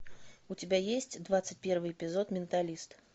у тебя есть двадцать первый эпизод менталист